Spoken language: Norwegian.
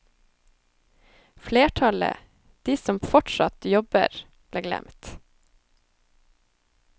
Flertallet, de som fortsatt jobb, ble glemt.